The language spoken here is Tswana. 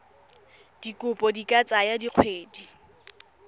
dikopo di ka tsaya dikgwedi